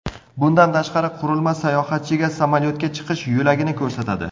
Bundan tashqari, qurilma sayohatchiga samolyotga chiqish yo‘lagini ko‘rsatadi.